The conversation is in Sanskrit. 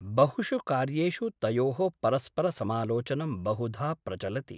बहुषु कार्येषु तयोः परस्पर समालोचनं बहुधा प्रचलति ।